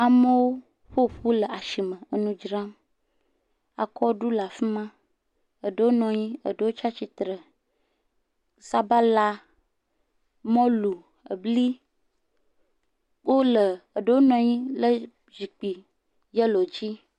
Amewo ƒoƒu le ashime enu dzram akɔɖu le afima eɖowo nɔnyi eɖowo tsa tsitre sabala mɔlu ebli wole eɖowo nɔnyi le zikpui yɛllo dzi.